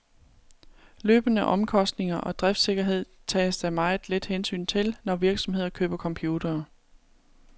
Løbende omkostninger og driftssikkerhed tages der meget lidt hensyn til, når virksomheder køber computere.